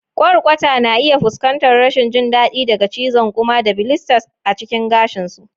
Kwarkwata na iya fuskantar rashin jin daɗi daga cizon ƙuma da blisters a cikin gashin su.